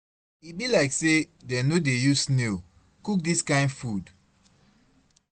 E be like say dem no dey use snail cook dis kin food.